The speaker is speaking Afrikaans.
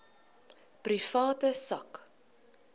private sak